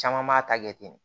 Caman b'a ta kɛ ten